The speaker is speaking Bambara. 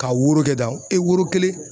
Ka woro kɛ tan, e woro kelen